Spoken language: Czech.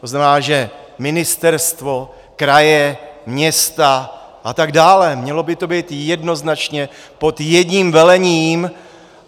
To znamená, že ministerstvo, kraje, města a tak dále, mělo by to být jednoznačně pod jedním velením.